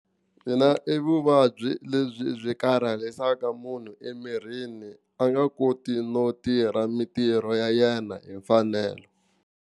Mina i vuvabyi lebyi byi karhalisaka munhu emirhini a nga koti no tirha mintirho ya yena hi mfanelo.